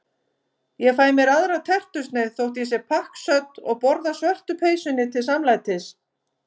Ég fæ mér aðra tertusneið þótt ég sé pakksödd og borða svörtu peysunni til samlætis.